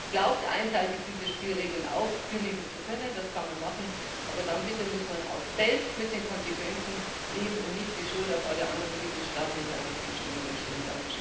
Wer glaubt, einseitig diese Spielregeln aufkündigen zu können, das kann man machen, aber dann, bitte, muss man selbst mit den Konsequenzen leben und darf nicht die Schuld auf alle anderen Mitgliedstaaten in der Europäischen Union schieben.